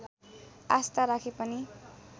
आस्था राखे पनि